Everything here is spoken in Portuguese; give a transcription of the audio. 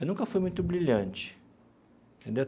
Eu nunca fui muito brilhante, entendeu?